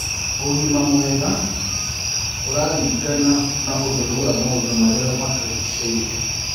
Ũgima mwega ũrarĩngana ũtherũ wa maũndũ marĩa matũrĩgĩcĩĩrĩe